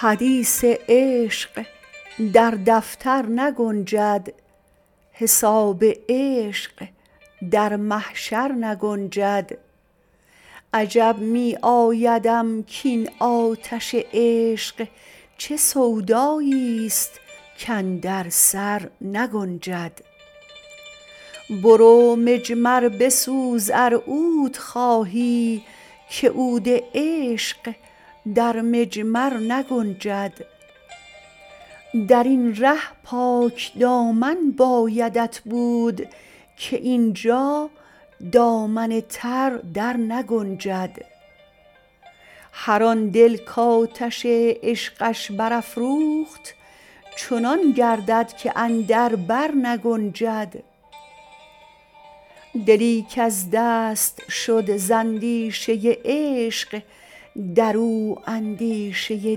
حدیث عشق در دفتر نگنجد حساب عشق در محشر نگنجد عجب می آیدم کین آتش عشق چه سودایی است کاندر سرنگنجد برو مجمر بسوز ار عود خواهی که عود عشق در مجمر نگنجد درین ره پاک دامن بایدت بود که اینجا دامن تر درنگنجد هر آن دل کآتش عشقش برافروخت چنان گردد که اندر بر نگنجد دلی کز دست شد زاندیشه عشق درو اندیشه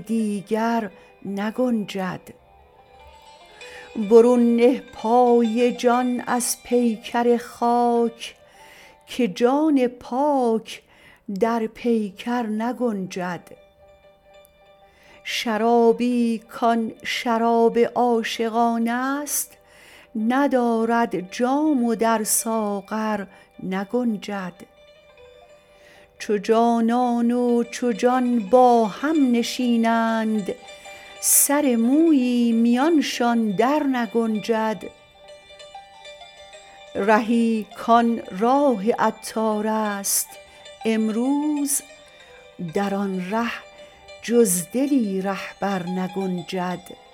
دیگر نگنجد برون نه پای جان از پیکر خاک که جان پاک در پیکر نگنجد شرابی کان شراب عاشقان است ندارد جام و در ساغر نگنجد چو جانان و چو جان با هم نشینند سر مویی میانشان درنگنجد رهی کان راه عطار است امروز در آن ره جز دلی رهبر نگنجد